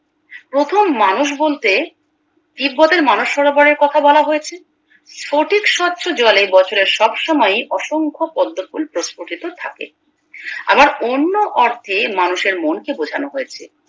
প্রথম মানুষ বলতে তিব্বতের মানস সরোবরের কথা বলা হয়েছে স্ফটিক স্বচ্ছ জলে বছরের সবসময়ই অসংখ্য পদ্মফুল প্রস্ফুটিত থাকে আবার অন্য অর্থে মানুষের মন কে বোঝানো হয়েছে